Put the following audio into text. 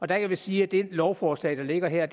der kan vi sige at det lovforslag der ligger her er